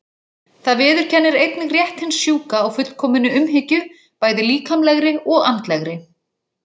Það viðurkennir einnig rétt hins sjúka á fullkominni umhyggju, bæði líkamlegri og andlegri.